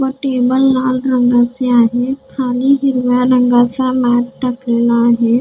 व टेबल लाल रंगाचे आहे खाली हिरव्या रंगाचा मॅट टाकलेला आहे.